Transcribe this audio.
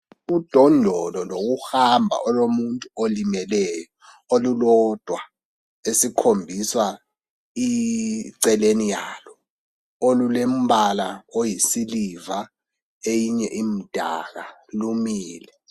Udondolo lokuhamba olomuntu olimeleyo olulodwa esikhombiswa iceleni yalo olulembala oyisiliva eyinye imdaka lumile.